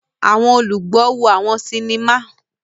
Awọn olùgbọ wo àwọn sinima.